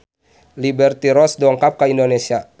Liberty Ross dongkap ka Indonesia